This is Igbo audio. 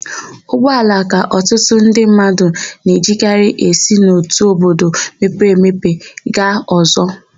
Ụgbọala ka ọtụtụ ndị mmadụ na-ejikarị esi n'otu obodo mepere emepe aga ọ̀zọ́.